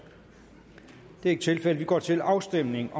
det er ikke tilfældet vi går til afstemning